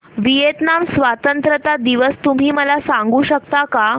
Vietnam स्वतंत्रता दिवस तुम्ही मला सांगू शकता का